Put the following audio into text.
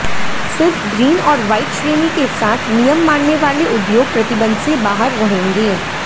सिर्फ ग्रीन और वाइट श्रेणी के साथ नियम मानने वाले उद्योग प्रतिबंध से बाहर रहेंगे